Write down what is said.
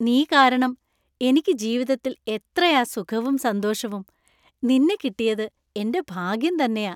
നീ കാരണം എനിക്ക് ജീവിതത്തിൽ എത്രയാ സുഖവും സന്തോഷവും! നിന്നെ കിട്ടിയത് എന്‍റെ ഭാഗ്യം തന്നെയാ .